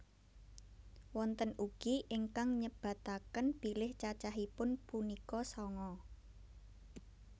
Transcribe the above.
Wonten ugi ingkang nyebataken bilih cacahipun punika sanga